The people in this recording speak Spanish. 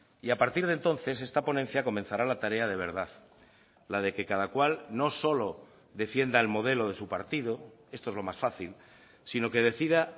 y a partir de entonces esta ponencia comenzará la tarea de verdad la de que cada cual no solo defienda el modelo de su partido esto es lo más fácil sino que decida